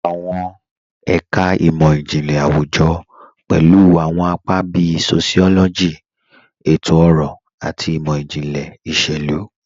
Awọn ẹka imọ-jinlẹ awujọ pẹlu awọn apa bíì sociology, ètò-ọrọ, àti imọ-jinlẹ iṣẹ̀lu.